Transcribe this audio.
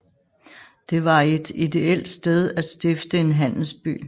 Det var et ideelt sted at stifte en handelsby